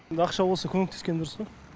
енді ақша болса көмектескен дұрыс қой